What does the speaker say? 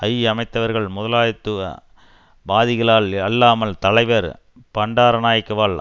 ஐ அமைத்தவர்கள் முதலாளித்துவ வாதிகளால் அல்லாமல் தலைவர் பண்டாரநாயக்கவால்